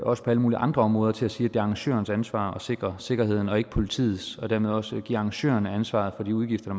også på alle mulige andre områder til at sige at det er arrangørernes ansvar at sikre sikkerheden og ikke politiets og dermed også give arrangørerne ansvaret for de udgifter